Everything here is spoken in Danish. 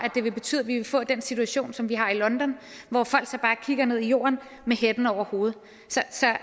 det vil betyde at vi vil få den situation som vi har i london hvor folk så bare kigger ned i jorden med hætten over hovedet